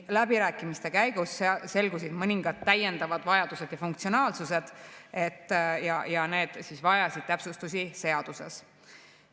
Läbirääkimiste käigus selgusid mõningad täiendavad vajadused ja funktsionaalsused, mis vajasid täpsustusi seaduses.